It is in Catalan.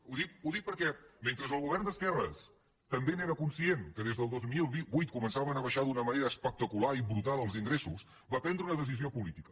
ho dic perquè mentre el govern d’esquerres també n’era conscient que des del dos mil vuit començaven a baixar d’una manera espectacular i brutal els ingressos va prendre una decisió política